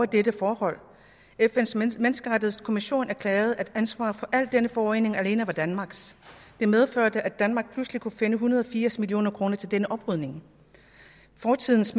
dette forhold fns menneskerettighedskommission erklærede at ansvaret for al denne forurening alene var danmarks det medførte at danmark pludselig kunne finde en hundrede og firs million kroner til denne oprydning fortidens